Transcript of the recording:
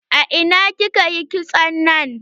A ina kika yi kitson nan?